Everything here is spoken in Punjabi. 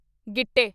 ਗਿੱਟੇ